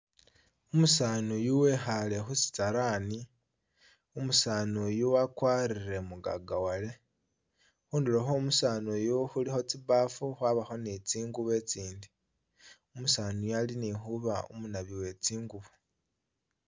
Umusanu eyu wekhaale khu shalaani umusanu uyu wagwarile mugagawale, khunduro khwo umusani uyu khulikho tsibaafu khwabakho ni tsingubo etsindi, umusani eyu ali .ni huba umunabi wetsingubo